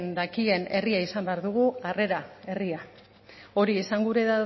dakien herria izan behar dugu harrera herria hori esan gura